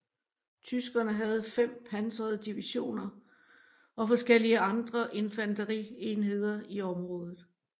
Tyskerne havde fem pansrede divisioner og forskellige andre infanterienheder i området